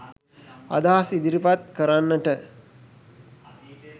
අදහස් ඉදිරිපත් කරන්නට